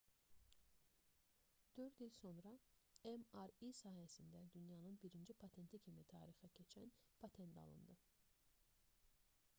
4 il sonra mri sahəsində dünyanın birinci patenti kimi tarixə keçən patent alındı